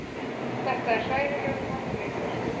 Þetta er hræðilegur harmleikur